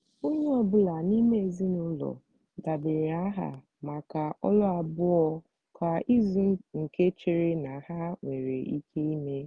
onye ọ bụla n'ime ezinụlọ debanyere aha maka ọlụ abụọ kwa izu nke chere na ha nwere ike eme.